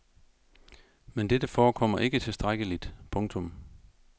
Men dette forekommer ikke tilstrækkeligt. punktum